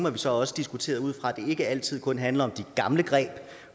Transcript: at vi så også diskuterede ud fra at det ikke altid kun handler om de gamle greb